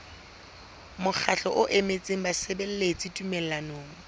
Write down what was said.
mokgatlo o emetseng basebeletsi tumellanong